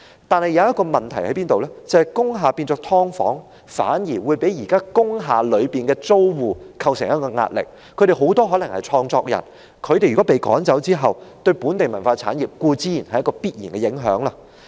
但是，這裏有一個問題，就是當工廈改建為"劏房"，將會對現時工廈的租戶構成壓力。他們很多可能是創作人，如果被趕走，對本地文化產業固然有必然的影響。